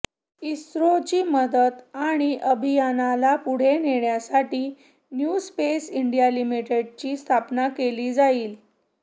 इस्रोची मदत आणि अभियानाला पुढे नेण्यासाठी न्यू स्पेस इंडिया लिमिटेडची स्थापना केली जाईल